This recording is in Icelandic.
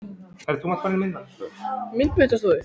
Og þá sá hann föður sinn fyrir sér.